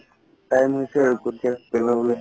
time হৈছে আৰু লবলে